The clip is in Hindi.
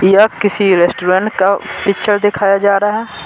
यह किसी रेस्टोरेंट का पिक्चर दिखाया जा रहा है।